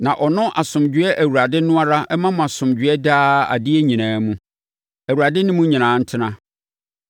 Na ɔno asomdwoeɛ Awurade no ara mma mo asomdwoeɛ daa adeɛ nyinaa mu. Awurade ne mo nyinaa ntena.